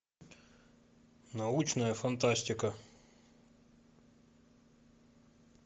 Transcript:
научная фантастика